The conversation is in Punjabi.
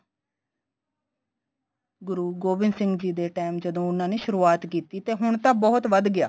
ਗੁਰੂ ਗੋਬਿੰਦ ਸਿੰਘ ਜੀ time ਜਦੋਂ ਉਨ੍ਹਾਂ ਨੇ ਸ਼ੁਰਵਾਤ ਕੀਤੀ ਤੇ ਹੁਣ ਤਾਂ ਬਹੁਤ ਵੱਧ ਗਿਆ